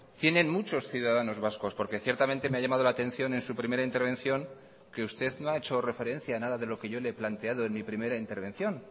tienen muchos ciudadanos vascos porque ciertamente me ha llamado la atención en su primera intervención que usted no ha hecho referencia a nada de lo que yo le he planteado en mi primera intervención